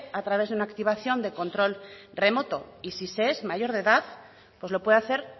a través de una activación de control remoto y si se es mayor de edad pues lo puede hacer